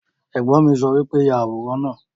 Ẹ̀gbọ́n mi sọ wípé 'Yà àwòrán náà'